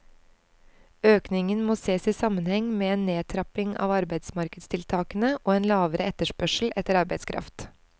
Økningen må ses i sammenheng med en nedtrapping av arbeidsmarkedstiltakene og en lavere etterspørsel etter arbeidskraft.